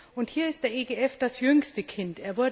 Und hier ist der EGF das jüngste Kind.